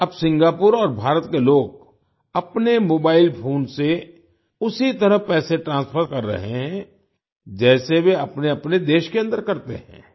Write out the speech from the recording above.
अब सिंगापुर और भारत के लोग अपने मोबाईल फ़ोन से उसी तरह पैसे ट्रांसफर कर रहे हैं जैसे वे अपनेअपने देश के अन्दर करते हैं